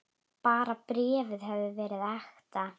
Bara bréfið hefði verið ekta!